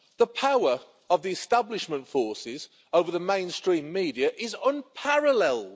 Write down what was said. The power of the establishment forces over the mainstream media is unparalleled.